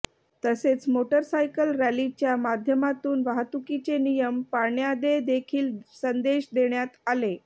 तसेच motorcycle रॅलीच्या माध्यमातून वाहतुकीचे नियम पाळण्यादे देखील संदेश देण्यात आले